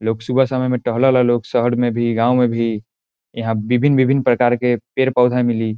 लोग सुबह शाम एमे टहला ला लोग शहर मे भी गांव में भी | एहां विभिन विभिन प्रकार के पेड़ पौधा मिली |